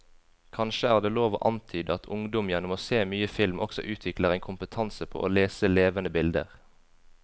Kanskje er det lov å antyde at ungdom gjennom å se mye film også utvikler en kompetanse på å lese levende bilder.